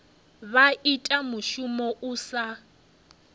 vha ita mushumo u sa